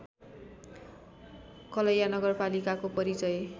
कलैया नगरपालिकाको परिचय